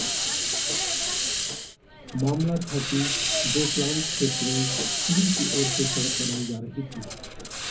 मामला था कि दोकलाम क्षेत्र में चीन की ओऱ से सड़क बनाई जा रही थी